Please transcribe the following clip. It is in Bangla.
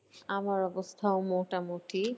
আমার অবস্থাও মোটামুটি।